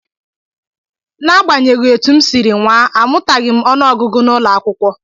N'agbanyeghị etu m siri nwaa, amụtaghị m ọnụọgụgụ n'ụlọakwụkwọ